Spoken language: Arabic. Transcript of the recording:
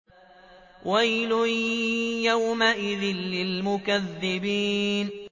وَيْلٌ يَوْمَئِذٍ لِّلْمُكَذِّبِينَ